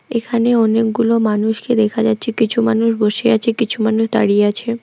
এখানে অনেকগুলো মানুষকে দেখা যাচ্ছে কিছু মানুষ বসে আছে কিছু মানুষ দাঁড়িয়ে আছে।